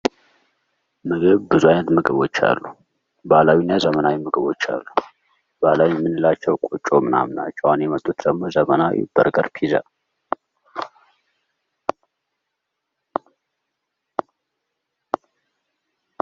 ብዙ አይነት ምግቦች አሉ። ባህላዊና ዘመናዊ ምግቦች አሉ። ባህላዊ እምንላቸው ቁጮ ምናምና ናቸው። አሁን የመጡትደግሞ ዘመናዊ በርገር ፒዛ።